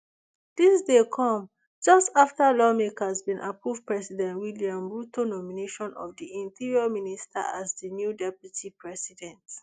dis dey come just after lawmakers bin approve president william ruto nomination of di interior minister as di new deputy president